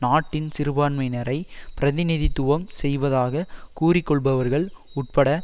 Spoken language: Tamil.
நாட்டின் சிறுபான்மையினரை பிரதிநிதித்துவம் செய்வதாக கூறிக்கொள்பவர்கள் உட்பட்ட